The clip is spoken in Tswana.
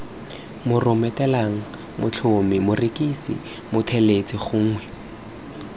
moromelateng motlhami morekisi mothelesi gongwe